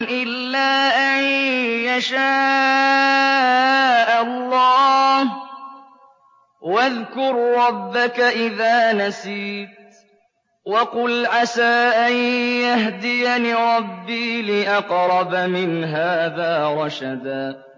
إِلَّا أَن يَشَاءَ اللَّهُ ۚ وَاذْكُر رَّبَّكَ إِذَا نَسِيتَ وَقُلْ عَسَىٰ أَن يَهْدِيَنِ رَبِّي لِأَقْرَبَ مِنْ هَٰذَا رَشَدًا